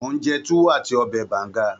Mò ń jẹ Tuwo àti ọbẹ̀ Banga